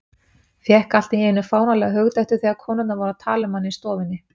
Fékk allt í einu fáránlega hugdettu þegar konurnar voru að tala um hana í stofunni.